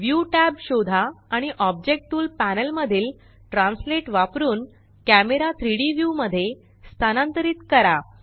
view tab शोधा आणि object tool panel मधील ट्रान्सलेट वापरुन कॅमरा 3Dव्यू मध्ये स्थानांतरित करा